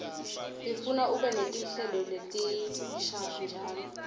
ifuna ube netinhlelo letinsha njalo